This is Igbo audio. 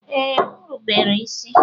Ee, m rubere isi.